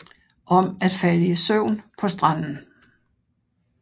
Om at falde i søvn på stranden